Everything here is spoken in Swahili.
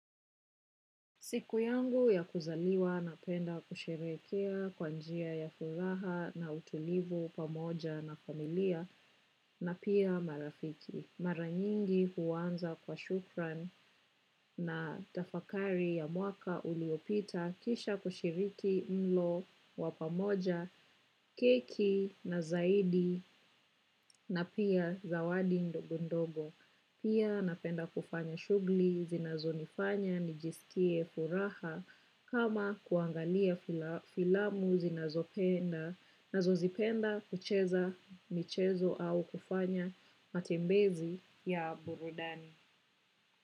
Siku yangu ya kuzaliwa napenda kusherehekea kwa njia ya furaha na utulivu pamoja na familia na pia marafiki. Maranyingi huwanza kwa shukran na tafakari ya mwaka uliopita kisha kushiriki mlo wa pamoja, keki na zaidi na pia zawadi ndogondogo. Pia napenda kufanya shuguli zinazo nifanya nijisikie furaha kama kuangalia filamu zinazo zipenda kucheza michezo au kufanya matembezi ya burudani.